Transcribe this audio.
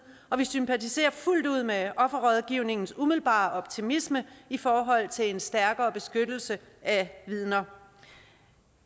og vi sympatiserer fuldt ud med offerrådgivningens umiddelbare optimisme i forhold til en stærkere beskyttelse af vidner